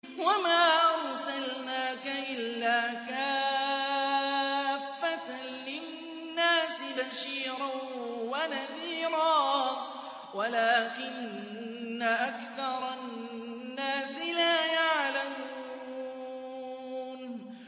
وَمَا أَرْسَلْنَاكَ إِلَّا كَافَّةً لِّلنَّاسِ بَشِيرًا وَنَذِيرًا وَلَٰكِنَّ أَكْثَرَ النَّاسِ لَا يَعْلَمُونَ